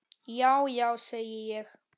Já já, segi ég.